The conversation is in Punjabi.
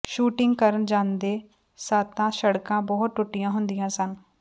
ਸ਼ੂਟਿੰਗ ਕਰਨ ਜਾਂਦੇ ਸਾਂ ਤਾਂ ਸੜਕਾਂ ਬਹੁਤ ਟੱੁਟੀਆਂ ਹੁੰਦੀਆਂ ਸਨ